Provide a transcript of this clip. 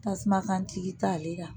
Tasuma kantigi ta ale la